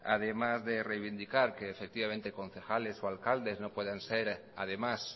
además de reivindicar que efectivamente concejales o alcaldes no puedan ser además